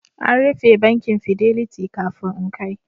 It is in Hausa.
An rufe bankin Fidelity kafin in kai